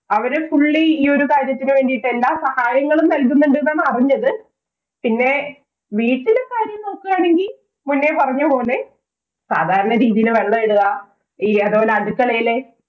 അവര് fully ഈ ഒരു കാര്യത്തിനു വേണ്ടീട്ടു എല്ലാ സഹായങ്ങളും നല്കുന്നുണ്ട് എന്നാണറിഞ്ഞത്. പിന്നെ വീട്ടിലെ കാര്യം നോക്കുകയാണെങ്കി മുന്നേ പറഞ്ഞ പോലെ സാധാരണ രീതിയില് വെള്ളമിടുക, ഈ അതുപോലെ അടുക്കളയിലെ